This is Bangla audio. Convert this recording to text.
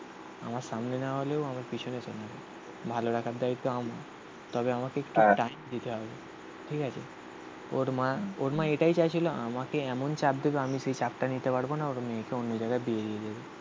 আমার সামনে না হলেও আমার পিছনে চলে যাবে. ভালো রাখার দায়িত্ব আমার. তবে আমাকে একটু দিতে হবে. ঠিক আছে. ওর মা, ওর মা এটাই চাইছিল আমাকে এমন চাপ দেবে. আমি সেই চাপটা নিতে পারব না. ওরম মেয়েকে অন্য জায়গায় বিয়ে দিয়ে দেবে।